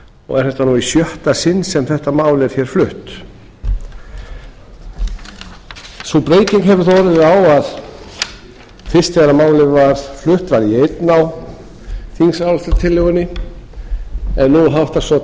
og er þetta nú í sjötta sinn sem þetta mál er flutt sú breyting hefur þó orðið á að fyrst þegar mæli var flutt var ég einn á þingsályktunartillögunni en nú háttar svo